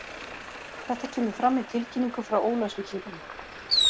Þetta kemur fram í tilkynningu frá Ólafsvíkingum.